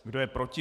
Kdo je proti?